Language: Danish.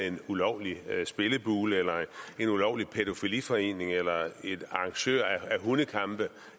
en ulovlig spillebule eller en ulovlig pædofiliforening eller en arrangør af hundekampe